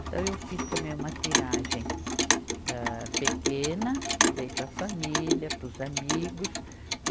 Então, eu fiz também uma tiragem âh pequena, dei para a família, para os amigos.